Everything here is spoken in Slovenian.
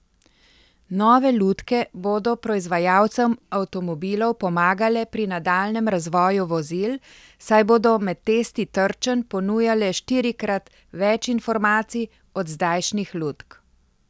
Nove lutke bodo proizvajalcem avtomobilov pomagale pri nadaljnjem razvoju vozil, saj bodo med testi trčenj ponujale štirikrat več informacij od zdajšnjih lutk.